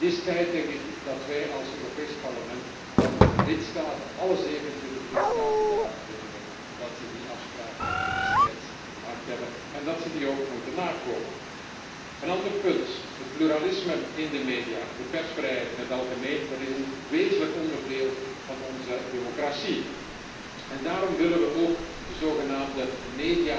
Het is tijd dat wij als Europees Parlement alle 27 lidstaten eraan herinneren dat zij die afspraken destijds gemaakt hebben, en dat ze die ook moeten nakomen. Een ander punt het pluralisme in de media en de persvrijheid in het algemeen, is een wezenlijk onderdeel van onze democratie. Daarom willen we ook de zogenaamde monitor voor